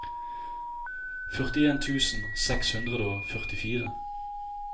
førtien tusen seks hundre og førtifire